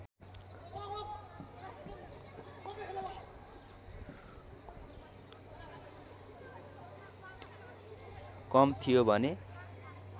कम थियो भने